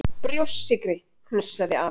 Brjóstsykri!!! hnussaði afi.